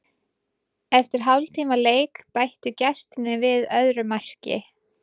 Eftir hálftíma leik bættu gestirnir við öðru marki.